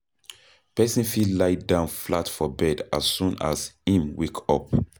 Person fit lie down flat for bed as soon as im wake up